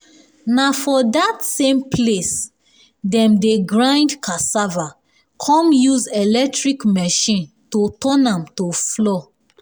na for dat same place dem dey grind cassava come use electric machine to turn am to flour